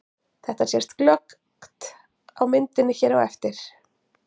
Þetta sést glöggt á myndinni hér á eftir.